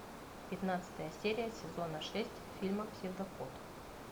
пятнадцатая серия сезона шесть фильма псевдокот